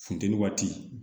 Funteni waati